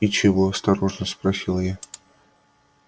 и чего осторожно спросила я